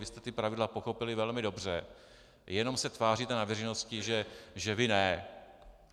Vy jste ta pravidla pochopili velmi dobře, jenom se tváříte na veřejnosti, že vy ne.